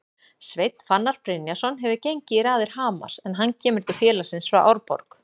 Sveinn Fannar Brynjarsson hefur gengið í raðir Hamars en hann kemur til félagsins frá Árborg.